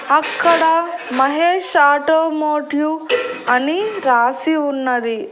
అక్కడ మహేష్ ఆటోమోటివ్ అని రాసి ఉన్నది.